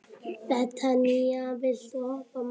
Betanía, viltu hoppa með mér?